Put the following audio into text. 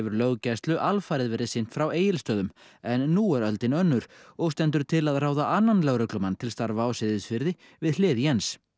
löggæslu alfarið sinnt frá Egilsstöðum en nú er öldin önnur og stendur til að ráða annan lögreglumann til starfa á Seyðisfirði við hlið Jens